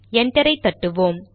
என்டரை தட்டுவோம்